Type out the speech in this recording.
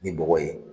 Ni bɔgɔ ye